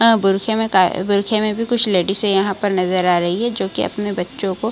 हां बुरखे में का बुरखे में भी कुछ लेडीसे यहाँ पर नजर आ रही हैं जो कि अपने बच्चों को --